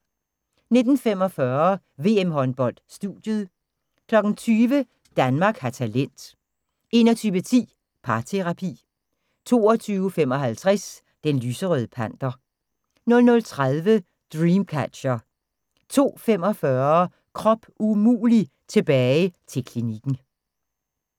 19:45: VM-håndbold: Studiet 20:00: Danmark har talent 21:10: Parterapi 22:55: Den lyserøde panter 00:30: Dreamcatcher 02:45: Krop umulig – tilbage til klinikken